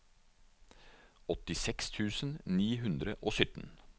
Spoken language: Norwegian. åttiseks tusen ni hundre og sytten